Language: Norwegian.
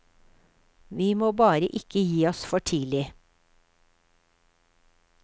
Vi må bare ikke gi oss for tidlig.